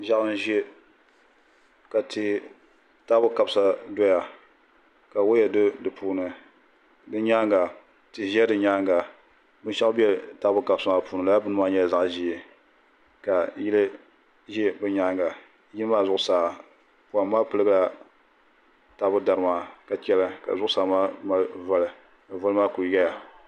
Ʒiɛɣu n ʒɛ ka taabo kabisa doya ka woya do di puuni di nyaanga tihi ʒɛ di nyaanga binshaɣu bɛ taabo kabisa maa puuni laa bini maa nyɛla zaɣ ʒiɛ ka yili ʒɛ bi nyaanga yiya maa zuɣusaa poham maa piligila taabo dari maa ka chɛli ka zuɣusaa maa mali voli ka voli maa ku yɛya